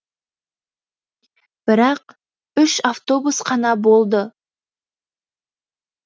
бірақ үш автобус қана болды